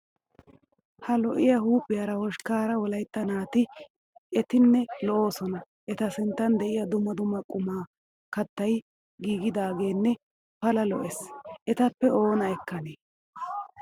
Ha lo'iyaa huuphiyaara hoshkkaara wolayitta naati etinne lo''oosona eta sinttan diyaa dumma dumma qommo kattayi giigidaageenne pala lo'es. Etappe oona ekkanee.